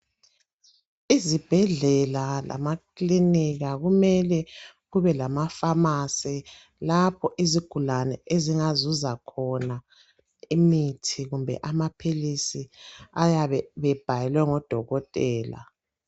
Izibhedlela lamakilinika kumele kube lama pharmacy lapho izigulane ezingazuza khona imithi kumbe amaphilisi ayabe bebhalelwe ngodokotela.